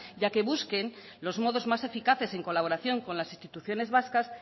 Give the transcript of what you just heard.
y a que busquen los modos más eficaces en colaboración con las instituciones vascas